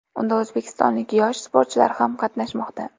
Unda o‘zbekistonlik yosh sportchilar ham qatnashmoqda.